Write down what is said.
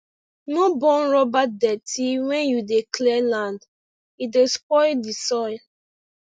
no burn rubber dirty when you dey clear land e dey spoil the soil